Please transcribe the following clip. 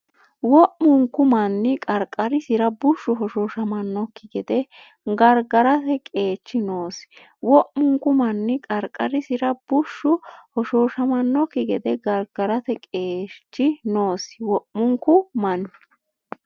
Wo’munku manni qarqarisira bushshu hoshooshamannokki gede gargarate qeechi noosi Wo’munku manni qarqarisira bushshu hoshooshamannokki gede gargarate qeechi noosi Wo’munku manni.